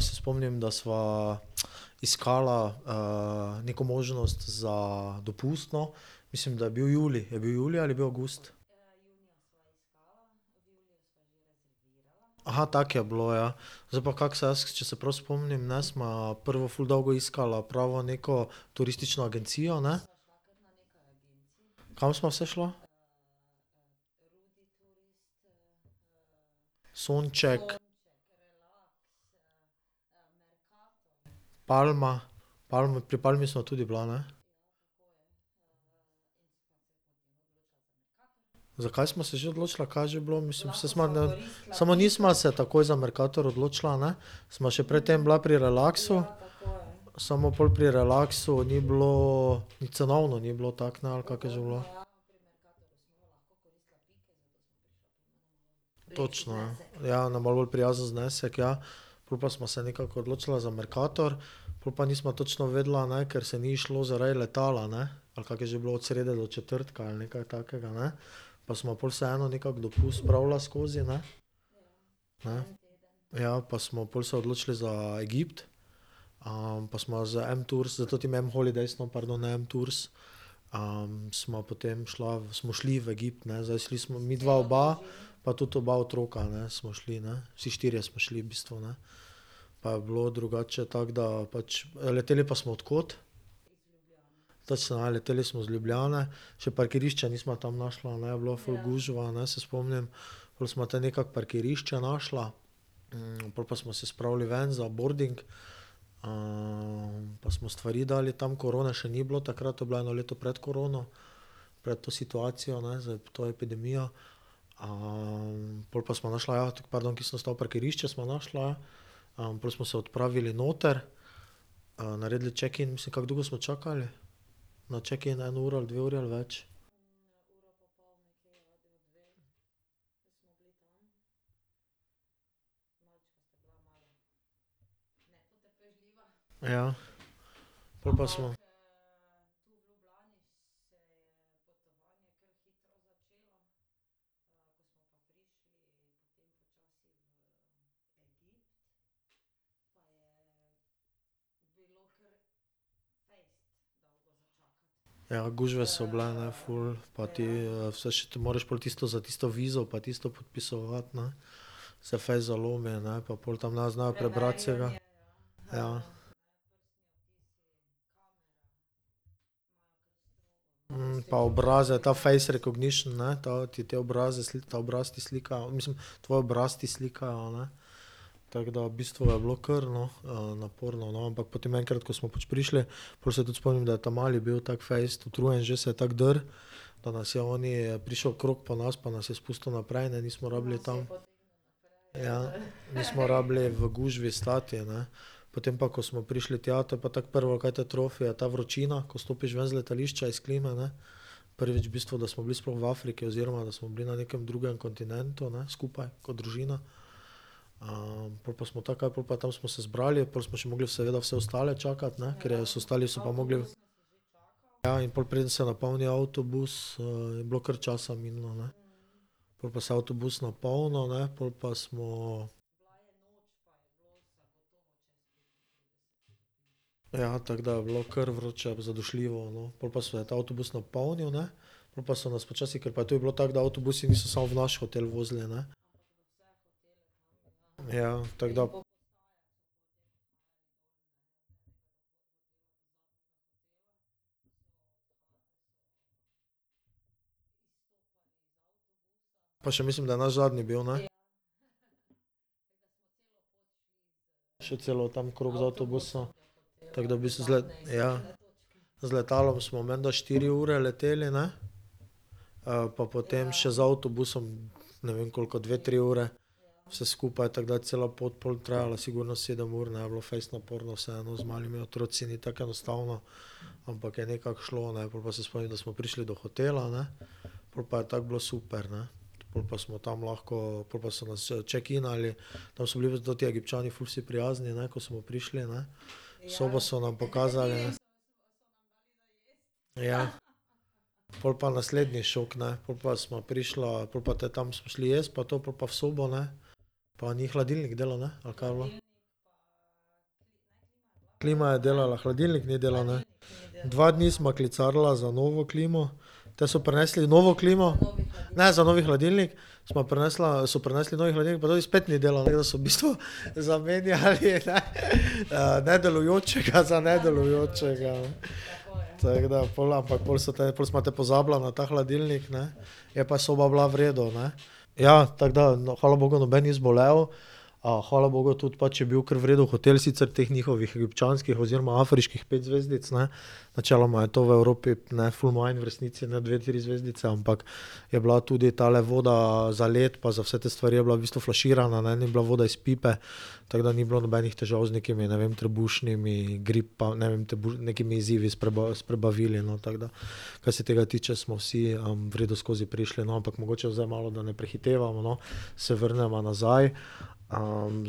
se spomnim, da sva iskala, neko možnost za dopust, no. Mislim, da je bil julij. Je bil julij ali je bil avgust? Aha, tako je bilo, ja. Zdaj pa kako se jaz, če se prav spomnim, ne, sva prvo ful dolgo iskala pravo neko turistično agencijo, ne? Kam sva vse šla? Sonček, Palma, Palma, pri Palmi sva tudi bila, ne? Zakaj sva se že odločila? Kaj je že bilo, mislim, saj sva samo nisva se takoj za Mercator odločila, ne? Sva še pred tem bila pri Relaxu. Samo pol pri Relaxu ni bilo, cenovno ni bilo tako, ne, ali kako je že bilo? Točno, ja, ja na malo bolj prijazen znesek, ja. Pol pa sva se nekako odločila za Mercator, pol pa nisva točno vedela, a naj, ker se ni izšlo, zaradi letala, ne. Ali kako je že bilo? Od srede do četrtka ali nekaj takega, ne? Pa sva pol vseeno nekako dopust spravila skozi, ne. Ne. Ja, pa smo pol se odločili za Egipt. pa sva z Vem Tours, s tem Vem Holidays, no, pardon, ne Vem Tours. sva potem šla smo šli v Egipt, ne zdaj šli smo midva oba, pa tudi oba otroka, ne, smo šli, ne. Vsi štirje smo šli v bistvu, ne. Pa je bilo drugače, tako da pač, leteli pa smo od kod? Točno ja, leteli smo iz Ljubljane. Še parkirišča nisva tam našla, ne, je bilo ful gužva, a ne, se spomnim. Pol sva te nekako parkirišče našla. pol pa smo se spravili ven za boarding, pa smo stvari dali tam. Korone še ni bilo takrat, to je bilo eno leto pred korono. Pred to situacijo, ne, zdaj to epidemijo. pol pa sva našla pardon, kje sem ostal, parkirišče sva našla, ja. pol smo se odpravili noter. naredili checkin, mislim, kako dolgo smo čakali? Na checkin, eno uro ali dve uri ali več? Ja. Pol pa smo. Ja, gužva so bile, ne, ful. Pa ti, vse moraš tisto za tisto vizo pa tisto podpisovati, ne. Se fejst zalomi, ne, pa pol tam ne znajo prebrati vsega. Ja. pa obraze ta face recognition, ne, ta, ti te obraze ta obraz ti slikajo, mislim, tvoj obraz ti slikajo, ne. Tako da v bistvu je bilo kar, no, naporno, no, ampak potem enkrat, ko smo pač prišli, pol se tudi spomnim, daje ta mali bil tako fejst utrujen že, se je tako drl. Pa nas je oni prišel okrog po nas pa nas je spustil naprej, ne, nismo rabili tam. Ja, nismo rabili v gužvi stati, ne. Potem pa, ko smo prišli tja, to pa je tako prvo, kaj te trofi, je ta vročina, ko stopiš ven z letališča, iz klime, ne. Prvič v bistvu, da smo bili sploh v Afriki, oziroma da smo bili na nekem drugem kontinentu, ne, skupaj kot družina. pol pa smo tako kaj, pol pa tam smo se zbrali, pol smo še mogli seveda vse ostale čakati, ne, ker je, ostali so pa mogli ... Ja, in pol preden se napolni avtobus, je bilo kar časa minilo, ne. Pol pa se je avtobus napolnil, ne, pol pa smo ... Ja, tako da je bilo kar vroče, zadušljivo, no, pol pa se je ta avtobus napolnil, ne, pol pa so nas počasi, ker pa to je bilo tako, da avtobusi niso samo v naš hotel vozili, ne. Ja, tako da ... Pa še mislim, da je naš zadnji bil, ne? Še celo tam krog z avtobusa. Tako da v bistvu ... ja. Z letalom smo menda štiri ure leteli, ne. pa potem še z avtobusom, ne vem, koliko, dve, tri ure. Vse skupaj, tako da cela pot pol trajala sigurno sedem ur, ne, je bilo fejst naporno, vseeno z malimi otroci ni tako enostavno. Ampak je nekako šlo, ne, pol pa se spomnim, da smo prišli do hotela, ne. Pol pa je tako bilo super, ne. Pol pa smo tam lahko, pol pa so nas checkinali, tam so bili pa ta Egipčani ful vsi prijazni, ne, ko smo prišli, ne. Sobo so nam pokazali. Ja. Pol pa naslednji šok, ne. Pol pa sva prišla, pol pa te tam smo šli jest pa to pol pa v sobo, ne. Pa ni hladilnik delal, ne? Ali kaj je bilo? Klima je delala, hladilnik ni delal, ne? Dva dni sva klicarila za novo klimo, te so prinesli novo klimo, ne za novi hladilnik. Sva prinesla, so prinesli novi hladilnik pa ta spet ni delal, ne, tako da so v bistvu zamenjali, ne nedelujočega za nedelujočega. Tako da pol, ampak pol so te, pol sva te pozabila na ta hladilnik, ne. Je pa soba bila v redu, ne. Ja, tako da, hvala bogu, noben ni zbolel. hvala bogu tudi pač je bil kar v redu hotel, sicer teh njihovih egipčanskih oziroma afriških pet zvezdic, ne. Načeloma je to v Evropi, ne, ful manj v resnici, ne, dve, tri zvezdice, ampak je bila tudi tale voda za led pa za vse te stvari je bila v bistvu flaširana, ne, ni bila voda iz pipe. Tako da ni bilo nobenih težav z nekimi, ne vem, trebušnimi ne vem nekimi izzivi s s prebavili, no, tako da. Kar se tega tiče, smo vsi, v redu skozi prišli, no, ampak mogoče zdaj malo, da ne prehitevamo, no, se vrneva nazaj.